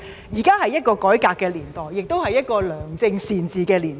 現在是一個改革的年代，亦是一個良政善治的年代。